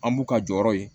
An b'u ka jɔyɔrɔ ye